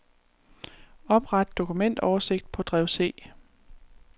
Opret dokumentoversigt på drev C.